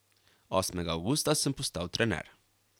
Osmega avgusta sem postal trener.